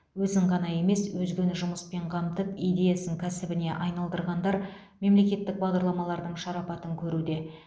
өзін ғана емес өзгені жұмыспен қамтып идеясын кәсібіне айналдырғандар мемлекеттік бағдарламалардың шарапатын көруде